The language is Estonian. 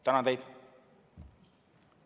Tänan teid!